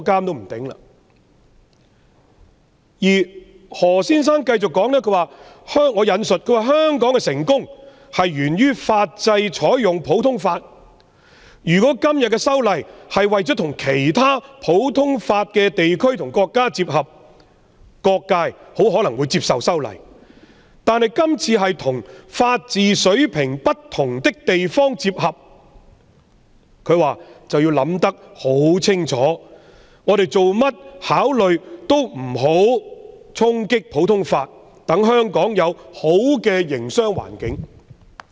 我現引述何先生接着的發言：香港的成功源於採用普通法法制，如果是次修例是為了跟其他普通法地區和國家接合，各界很可能會接受；但是次修例旨在與法治水平不同的地方接合，我們便要考慮清楚，切勿衝擊普通法，以便香港保留良好的營商環境。